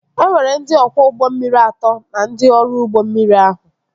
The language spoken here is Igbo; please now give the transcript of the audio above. E nwere ndị ọkwọ ụgbọ mmiri atọ na ndị ọrụ ụgbọ mmiri ahụ